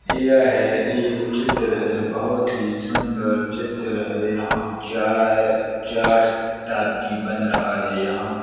यह एक चित्र है बोहत ही सुंदर चित्र है| यहां चाय चाट टाइप की बन रहा है | यहां--